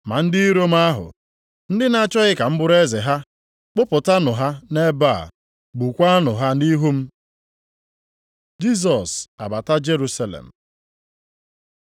Ma ndị iro m ahụ, ndị na-achọghị ka m bụrụ eze ha, kpụpụtanụ ha nʼebe a, gbukwaanụ ha nʼihu m.’ ” Jisọs abata Jerusalem